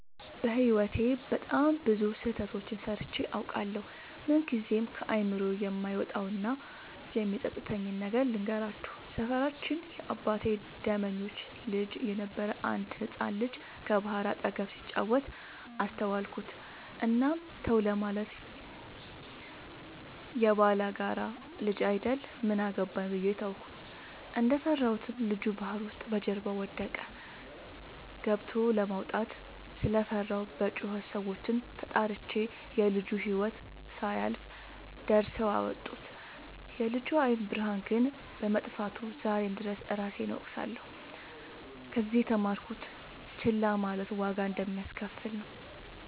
በህይወቴ በጣም ብዙ ስህተቶችን ሰርቸ አውቃለሁ። ምንግዜም ከአይምሮዬ የማይወጣው እና የሚፀፅተኝን ነገር ልንገራችሁ። ሰፈራችን የአባቴ ደመኞች ልጅ የነበረ አንድ ህፃን ልጅ ከባህር አጠገብ ሲጫወት አስተዋልኩት። እናም ተው ለማለት የባላጋራ ልጅ አይደል ምን አገባኝ ብዬ ተውኩት። እንደፈራሁትም ልጁ ባህር ውስጥ በጀርባው ወደቀ። ገብቸ ለማውጣት ስለፈራሁ በጩኸት ሰዎችን ተጣርቸ የልጁ ህይወት ሳያልፍ ደርሰው አወጡት። የልጁ የአይን ብርሃን ግን በመጥፋቱ ዛሬም ድረስ እራሴን እወቅሳለሁ። ከዚህ የተማርኩት ችላ ማለት ዋጋ እንደሚያሰከፍል ነው።